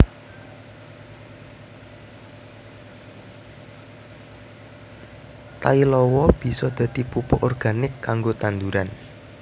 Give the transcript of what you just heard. Tai lawa bisa dadi pupuk organik kanggo tanduran